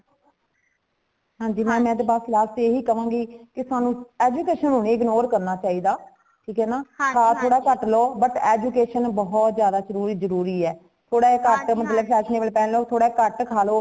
ਹਾਂਜੀ ma'am ਮੈਂ ਤੇ ਬੱਸ last ਏਹਿ ਕਵਾਂਗੀ ਕੀ ਸਾਨੂ educationਨੂੰ ਨਹੀਂ ignore ਕਰਨਾ ਚਾਹੀਦਾ ਠੀਕ ਏਨਾ ਖਾ ਥੋੜਾ ਕੱਟ ਲੋ but education ਬਹੁਤ ਜ਼ਿਆਦਾ ਜਰੂਰੀ ਏ , ਥੋੜਾ ਕੱਟ fashionable ਪਹਿਨ ਲੋ ,ਥੋੜਾ ਕੱਟ ਖਾਲੋ